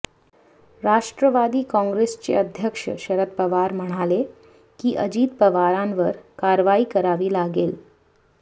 राष्ट्रवादी काँग्रेसचे अध्यक्ष शरद पवार म्हणाले की अजित पवारांवर कारवाई करावी लागेल